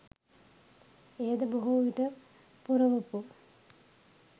එයද බොහෝවිට පුරවපු